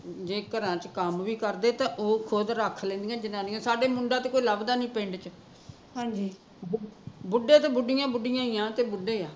ਜੇ ਘਰਾਂ ਚ ਕੰਮ ਵੀ ਕਰਦੇ ਤਾਂ ਉਹ ਖੁਦ ਰੱਖ ਲੈਂਦੀਆ ਜਨਾਨੀਆ ਸਾਡੇ ਮੁੰਡਾ ਤੇ ਕੋਈ ਲੱਭਦਾ ਨੀ ਪਿੰਡ ਚ ਬੁੱਢੇ ਤੇ ਬੁੱਢੀਆ ਬੁੱਢੀਆ ਈ ਆ